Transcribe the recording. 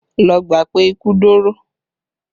Lọ gbà pé ikú dóró!